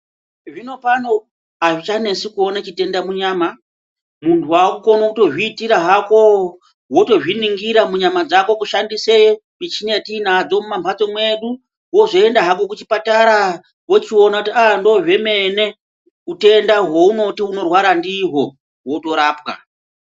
Zvinopano azvichanesi kuona chitenda munyama. Muntu wakukona kutozviitira hako wotozviningira munyama dzako weishandisa michini dzatanadzo mumambatso mwedu wozoenda Hako kuzvipatara wochiona kuti andozvemene, utenda hweunoti unorwara ndihwo wotorapwa.